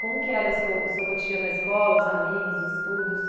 Como que era o seu o seu cotidiano na escola, os amigos, os estudos?